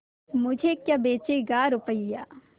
मुझे क्या बेचेगा रुपय्या